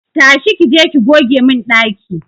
Tashi!ki je ki goge mun daki!